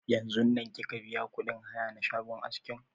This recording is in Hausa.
Yanzun nan kika biya kuɗin haya na shagon askin?